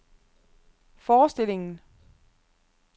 forestillingen